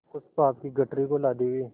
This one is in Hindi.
उस पाप की गठरी को लादे हुए